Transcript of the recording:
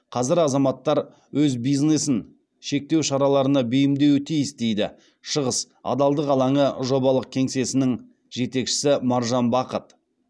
қазір азаматтар өз бизнесін шектеу шараларына бейімдеуі тиіс дейді шығыс адалдық алаңы жобалық кеңсесінің жетекшісі маржан бақыт